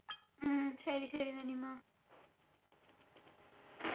ആ ശരി ശരി നനിമ്മാ